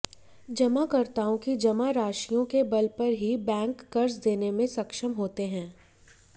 जमाकर्ताओं की जमा राशियों के बल पर ही बैंक कर्ज देने में सक्षम होते हैं